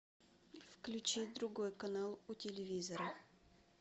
включи другой канал у телевизора